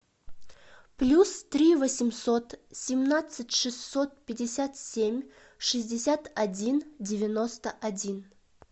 плюс три восемьсот семнадцать шестьсот пятьдесят семь шестьдесят один девяносто один